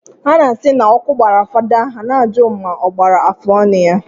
Ha na-asị na ọkụ gbara fada I na-ajụ ma ọ gbara afụọnụ ya.